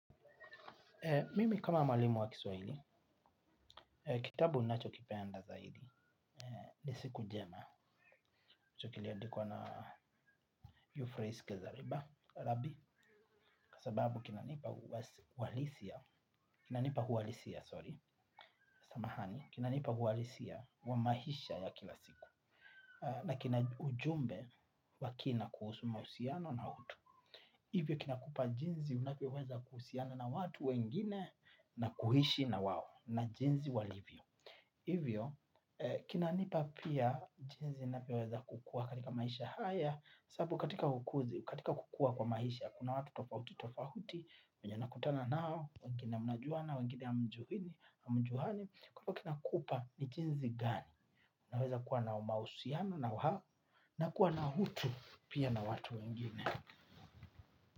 Mimi kama mwalimu wa kiswahili, kitabu ninachokipenda zaidi ni siku njema hicho kiliandikwa na Euphrateske zariba, rabi, kwasababu kina nipa uwalisia, kina nipa uhalisia, sorry, samahani, kina nipa uhalisia wamaisha ya kila siku, na kina ujumbe wakina kuhusu mahusiano na utu. Hivyo kinakupa jinsi unavyo weza kuhusiana na watu wengine na kuishi na wao na jinsi walivyo. Hivyo kinanipa pia jinsi navyo weza kukua katika maisha haya. Sasabu katika kukua kwa maisha kuna watu tofauti tofauti. Wenye unakutana nao wengine mnajuana wengine hamjuani. Kwahivyo kina kupa ni jinsi gani una weza kuwa na umahusiano na wao na kuwa na utu pia na watu wengine.